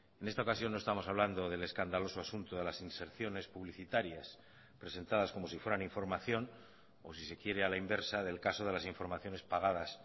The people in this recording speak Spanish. en esta ocasión no estamos hablando del escandaloso asunto de las inserciones publicitarias presentadas como si fueran información o si se quiere a la inversa del caso de las informaciones pagadas